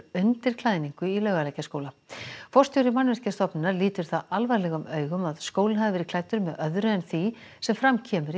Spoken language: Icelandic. undir klæðningu Laugalækjarskóla forstjóri Mannvirkjastofnunar lítur það alvarlegum augum að skólinn hafi verið klæddur með öðru en því sem fram kemur í